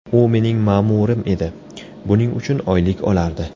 U mening ma’murim edi, buning uchun oylik olardi.